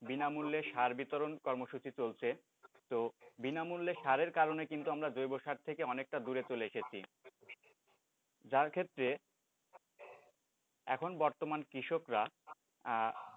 বিনামূল্যে সার বিতরণ কর্মসূচী চলছে, তো বিনামূল্যে সারের কারণে কিন্তু আমরা জৈব সার থেকে অনেকটা দূরে চলে এসেছি যার ক্ষেত্রে এখন বর্তমান কৃষকরা,